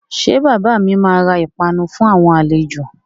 Ṣé bàbà mi máa ra ìpanu fún àwọn àlejò?